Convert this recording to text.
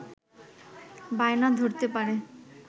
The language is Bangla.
বায়না ধরতে পারে